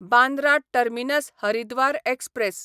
Bandra terminus Haridwar express